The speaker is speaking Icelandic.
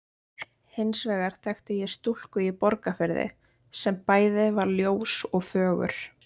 Hins vegar þekkti ég stúlku í Borgarfirði sem bæði var ljós og fögur.